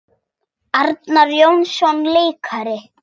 Arnar Jónsson leikari